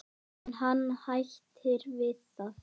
En hann hættir við það.